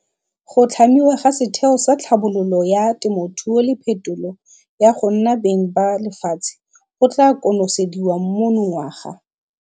Go tlhamiwa ga Setheo sa Tlhabololo ya Temothuo le Phetolo ya go nna Beng ba Lefatshe go tla konosediwa monongwaga.